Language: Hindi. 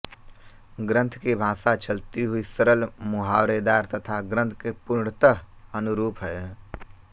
ग्रन्थ की भाषा चलती हुई सरल मुहावरेदार तथा ग्रन्थ के पूर्णतः अनुरूप है